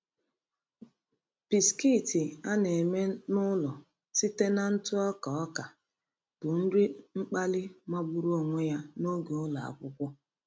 Bisikiiti a na-eme n'ụlọ site na ntụ ọka ọka bụ nri mkpali magburu onwe ya n’oge ụlọ akwụkwọ.